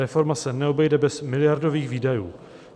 Reforma se neobejde bez miliardových výdajů.